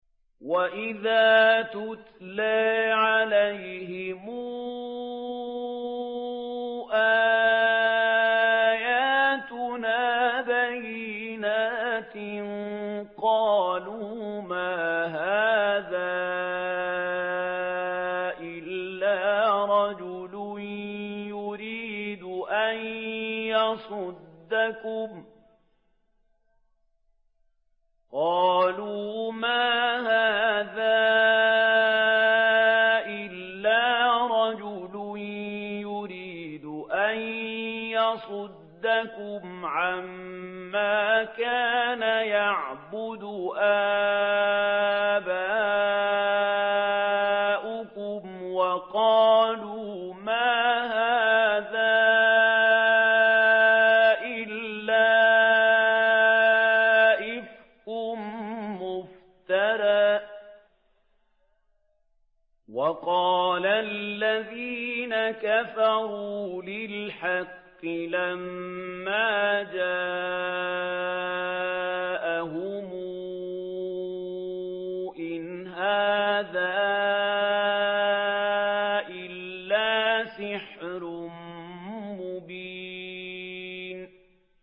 وَإِذَا تُتْلَىٰ عَلَيْهِمْ آيَاتُنَا بَيِّنَاتٍ قَالُوا مَا هَٰذَا إِلَّا رَجُلٌ يُرِيدُ أَن يَصُدَّكُمْ عَمَّا كَانَ يَعْبُدُ آبَاؤُكُمْ وَقَالُوا مَا هَٰذَا إِلَّا إِفْكٌ مُّفْتَرًى ۚ وَقَالَ الَّذِينَ كَفَرُوا لِلْحَقِّ لَمَّا جَاءَهُمْ إِنْ هَٰذَا إِلَّا سِحْرٌ مُّبِينٌ